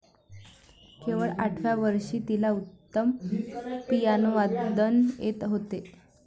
केवळ आठव्या वर्षी तिला उत्तम पियानोवादन येत होते.